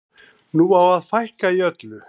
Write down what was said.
Nú á að fækka í öllu.